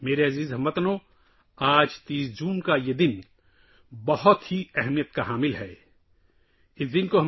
میرے پیارے ہم وطنو، آج 30 جون بہت اہم دن ہے